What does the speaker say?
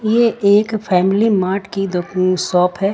ये एक family mart की शॉप है।